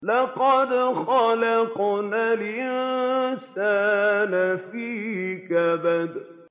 لَقَدْ خَلَقْنَا الْإِنسَانَ فِي كَبَدٍ